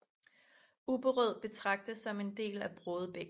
Ubberød betragtes som en del af Brådebæk